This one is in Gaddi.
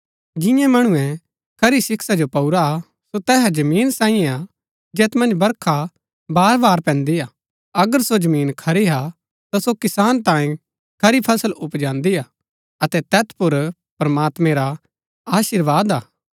जिन्यै मणुऐ खरी शिक्षा जो पाऊरा हा सो तैहा जमीन सांईयै हा जैत मन्ज बरखा बार बार पैन्दी हा अगर सो जमीन खरी हा ता सो किसान तांये खरी फसल उपजांदी हा अतै तैत पुर प्रमात्मैं रा अशीर्वाद हा